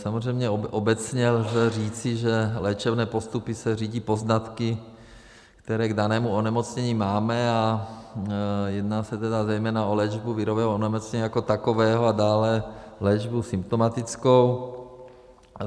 Samozřejmě obecně lze říci, že léčebné postupy se řídí poznatky, které k danému onemocnění máme, a jedná se tedy zejména o léčbu virového onemocnění jako takového a dále léčbu symptomatickou.